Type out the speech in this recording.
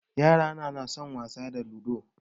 Yarana na son wasa da ludo